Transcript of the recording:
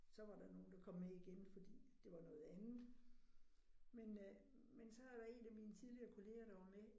Så var der nogle der kom med igen fordi det var noget andet. Men øh men så var der en af mine tidligere kollegaer der var med